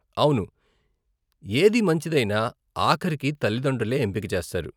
అవును, ఏది మంచిదైనా, ఆఖరికి తల్లితండ్రులే ఎంపిక చేస్తారు.